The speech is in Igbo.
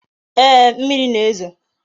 Ee, mmiri na-ezo